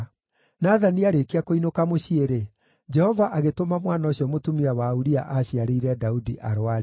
Nathani aarĩkia kũinũka mũciĩ-rĩ, Jehova agĩtũma mwana ũcio mũtumia wa Uria aaciarĩire Daudi arũare.